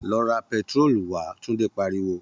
Lọ ra pẹtiróòlù wá!, Tunde pariwo